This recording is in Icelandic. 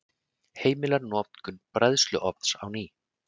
Heimila notkun bræðsluofns á ný